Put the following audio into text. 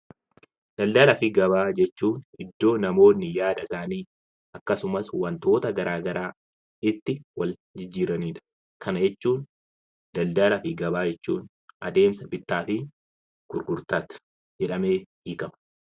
Daldalaa fi gabaa jechuun iddoo namoonni yaada isaanii akkasumas wantoota garaagaraa itti walitti jijjiiranidha. Kana jechuun daldalaa fi gabaa jechuun adeemsa bittaa fi gurgurtaa jedhamee beekama.